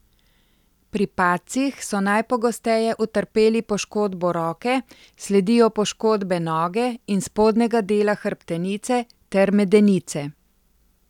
Pri padcih so najpogosteje utrpeli poškodbo roke, sledijo poškodbe noge in spodnjega dela hrbtenice ter medenice.